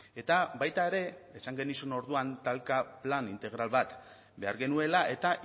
eta baita ere esan genizun orduan talka plan integral bat behar genuela eta